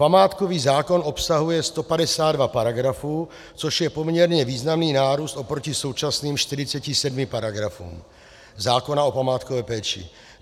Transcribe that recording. Památkový zákon obsahuje 152 paragrafů, což je poměrně významný nárůst proti současným 47 paragrafům zákona o památkové péči.